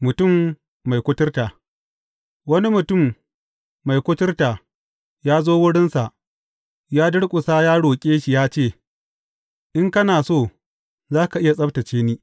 Mutum mai kuturta Wani mutum mai kuturta ya zo wurinsa, ya durƙusa ya roƙe shi ya ce, In kana so, za ka iya tsabtacce ni.